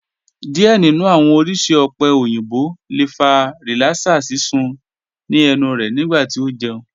Diẹ ninu awọn oriṣi ope oyinbo le fa rilara sisun ni ẹnu rẹ nigbati o jẹun